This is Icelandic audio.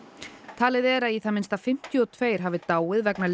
talið er að í það minnsta fimmtíu og tvö hafi dáið vegna